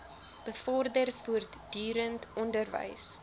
bevorder voortdurend onderwys